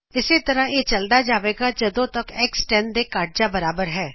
ਇਸੇ ਤਰ੍ਹਾਂ ਇਹ ਚਲਦਾ ਜਾਵੇਗਾ ਜੱਦੋ ਤਕ X 10 ਦੇ ਘੱਟ ਜਾ ਬਰਾਬਰ ਹੈ